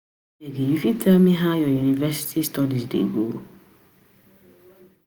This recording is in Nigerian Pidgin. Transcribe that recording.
abeg you fit tell me how your university studies dey go?